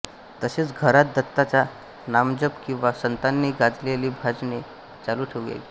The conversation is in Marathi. तसेच घरात दत्ताचा नामजप किंवा संतांनी गायलेली भजने चालू ठेवावीत